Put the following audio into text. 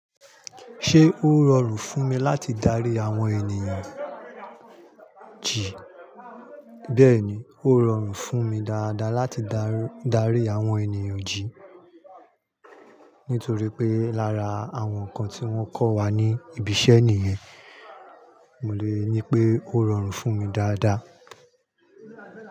Ṣé ó rọrùn fún mi láti darí àwọn ènìyàn jìí? Bẹ́ẹ̀ni, ó rọrùn fún mi dáadáa láti darí àwọn ènìyàn jìí. Nítorí pé lára àwọn ǹkan tí wọ́n kọ́ wa ní ibiṣẹ́ nìyẹn. Mo le ní pé ó rọrùn fún mi dáadáa.